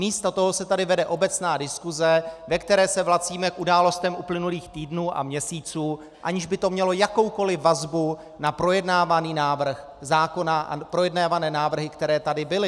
Místo toho se tady vede obecná diskuse, ve které se vracíme k událostem uplynulých týdnů a měsíců, aniž by to mělo jakoukoli vazbu na projednávaný návrh zákona a projednávané návrhy, které tady byly.